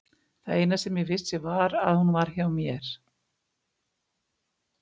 Það eina sem ég vissi var að hún var hjá mér.